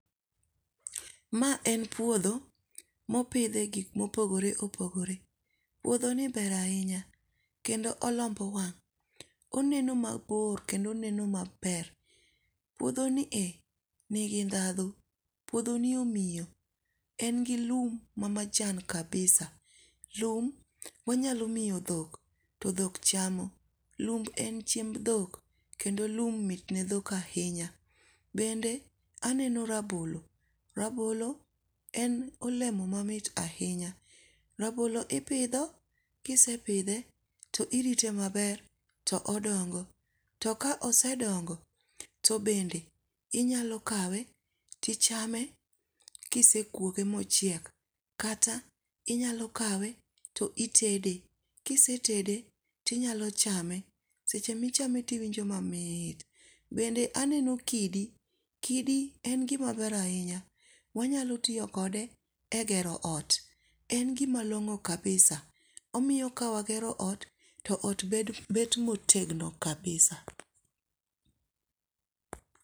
Mae en puotho mipithe gik ma opogore opogore, piothoni ber ahinya kendo olombo wang', oneno mabor kendo oneno maber, puothonie nigi dhatho puothoni omiyo, en gi lum ma majan kabisa, lum wanyalo miyo dhok mondo dhok chamo, lum en chiemb dhok, kendo lum mitne dhok ahinya, bende aneno rabolo, rabolo en olemo mamit ahinya, rabolo ipitho kisepithe to irite maber to odongo' to ka osedongo to bende inyalo kawe tichame kisekuoge mochiek kata inyalo kawe to itede, kisetede to inyalo chame, seche michame to iwinjo mamit. Bende aneno kidi,, kidi en gimaber ahinya wanyalo tiyo kode e gero ot. en gimalong'o kabisa, omiyo kawagero ot to ot bet motegno kabisa